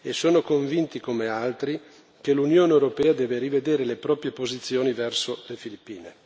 Sono convinto, come altri, che l'Unione europea debba rivedere le proprie posizioni verso le Filippine.